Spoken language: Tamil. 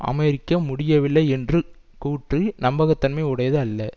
அமெரிக்க முடியவில்லை என்ற கூற்று நம்பகத்தன்மை உடையது அல்ல